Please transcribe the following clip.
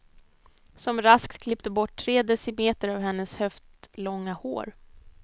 Som raskt klippte bort tre decimeter av hennes höftlånga hår.